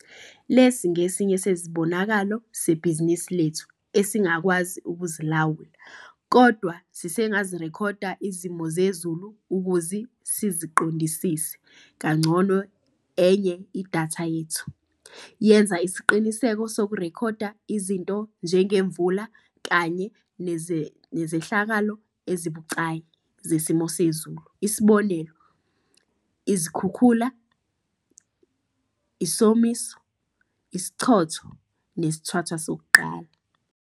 Lesi ngesinye sezibonakalo sebhizinisi lethu esingakwazi ukuzilawula. Kodwa sisengazirekhoda izimo zezulu ukuzi siziqondisise kangcono enye idatha yethu. Yenza isiqiniseko sokurekhoda izinto njengemvula kanye nezehlakalo ezibucayi zesimo sezulu isib. izikhukhula, isomiso, isichotho nesithwathwa sokuqala.